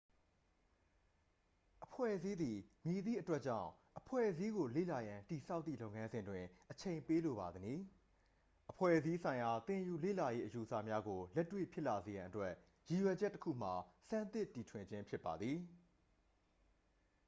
အဖွဲ့အစည်းသည် မည်သည့်အတွက်ကြောင့် အဖွဲ့အစည်းကို လေ့လာရန် တည်ဆောက်သည့် လုပ်ငန်းစဉ်တွင် အချိန်ပေးလိုပါသနည်း အဖွဲ့အစည်းဆိုင်ရာသင်ယူလေ့လာရေးအယူအဆများကို လက်တွေ့ဖြစ်လာစေရန်အတွက် ရည်ရွယ်ချက်တစ်ခုမှာ ဆန်းသစ်တီထွင်ခြင်းဖြစ်ပါသည်